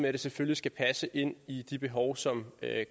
at det selvfølgelig skal passe ind i de behov som